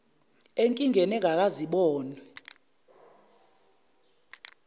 enkingeni engakaze ibonwe